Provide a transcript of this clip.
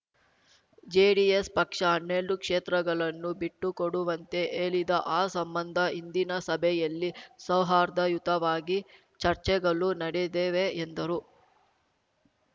JDS ಪಕ್ಷ ಹನ್ನೆಲ್ಡು ಕ್ಷೇತ್ರಗಳನ್ನು ಬಿಟ್ಟುಕೊಡುವಂತೆ ಹೇಳಿದ ಆ ಸಂಬಂಧ ಇಂದಿನ ಸಭೆಯಲ್ಲಿ ಸೌಹಾರ್ದಯುತವಾಗಿ ಚರ್ಚೆಗಳು ನಡೆದವೆ ಎಂದರು